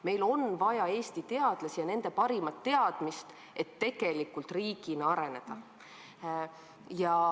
Meil on vaja Eesti teadlasi ja nende parimat teadmist, et tegelikult riigina areneda.